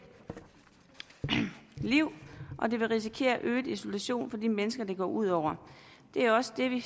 liv og det vil risikere at øge isolationen for de mennesker det går ud over det er også det vi